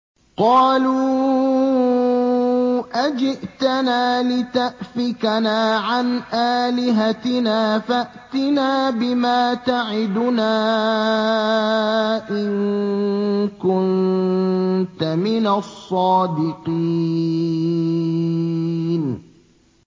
قَالُوا أَجِئْتَنَا لِتَأْفِكَنَا عَنْ آلِهَتِنَا فَأْتِنَا بِمَا تَعِدُنَا إِن كُنتَ مِنَ الصَّادِقِينَ